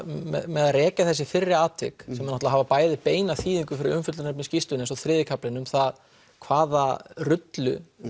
með að rekja þessi fyrri atvik sem náttúrulega hafa bæði beina þýðingu fyrir umfjöllunarefni skýrslunnar eins og þriðji kaflinn um það hvaða rullu